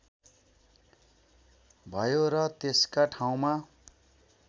भयो र त्यसका ठाउँमा